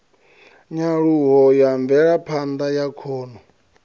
nyaluho ya mvelaphanda ya khono